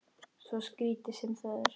Svo skrítið sem það er.